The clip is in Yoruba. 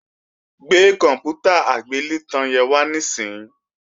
Gbé kòǹpútà agbélétan yẹn wá níìsín!